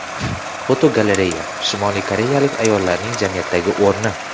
Fotogalereya: Shimoliy koreyalik ayollarning jamiyatdagi o‘rni.